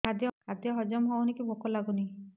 ଖାଦ୍ୟ ହଜମ ହଉନି କି ଭୋକ ଲାଗୁନି